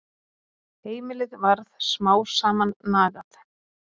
Heimilið varð smám saman nagað.